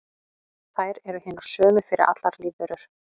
Þær eru hinar sömu fyrir allar lífverur.